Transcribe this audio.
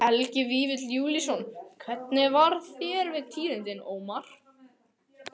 Helgi Vífill Júlíusson: Hvernig varð þér við tíðindin, Ómar?